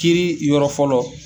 Kiiri yɔrɔ fɔlɔ